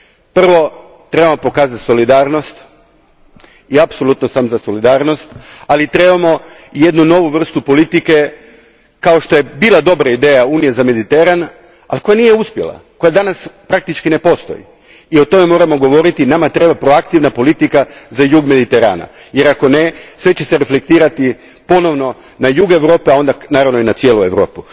Prvo trebamo pokazati solidarnost i apsolutno sam za solidarnost, ali trebamo jednu novu vrstu politike, kao što je bila dobra ideja Unije za Mediteran, ali koja nije uspjela, koja danas praktički ne postoji i o tome moramo govoriti, nama treba proaktivna politika za jug Mediterana jer ako ne, sve će se reflektirati ponovno na jug Europe, a onda naravno i na cijelu Europu.